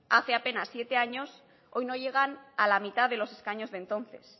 hace apenas siete años hoy no llegan a la mitad de los escaños de entonces